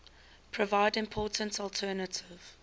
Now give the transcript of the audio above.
provide important alternative